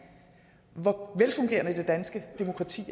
hvor velfungerende det danske demokrati